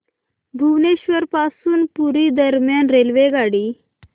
भुवनेश्वर पासून पुरी दरम्यान रेल्वेगाडी